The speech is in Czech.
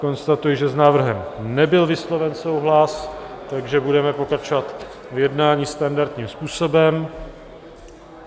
Konstatuji, že s návrhem nebyl vysloven souhlas, takže budeme pokračovat v jednání standardním způsobem.